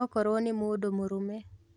Okorwo nĩ mũndũ mũrũme